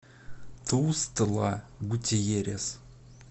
тустла гутьеррес